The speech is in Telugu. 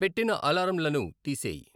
పెట్టిన అలారంలను తీసేయ్